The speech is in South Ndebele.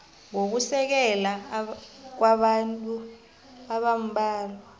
nokusekela kwabantu abambalwa